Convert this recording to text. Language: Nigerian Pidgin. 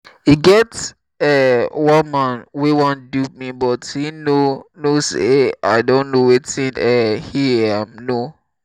e get um one man wey wan dupe me but he no know say i don know wetin um he um know